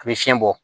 A bɛ fiɲɛ bɔ